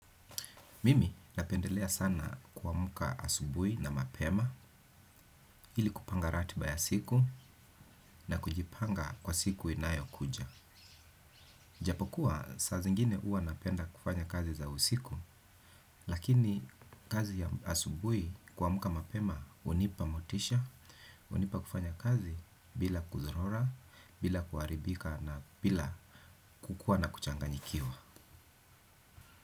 Mimi napendelea sana kuamka asubui na mapema ili kupanga ratiba ya siku na kujipanga kwa siku inayo kuja. Japokuwa saa zingine huwa napenda kufanya kazi za usiku lakini kazi ya asubui kuamka mapema hunipa motisha, hunipa kufanya kazi bila kuzurora, bila kuaribika na bila kukua na kuchanganyikiwa.